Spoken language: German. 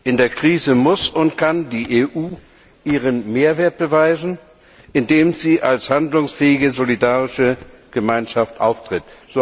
In der Krise muss und kann die EU ihren Mehrwert beweisen, indem sie als handlungsfähige, solidarische Gemeinschaft auftritt.